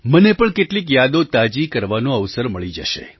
મને પણ કેટલીક યાદો તાજી કરવાનો અવસર મળી જશે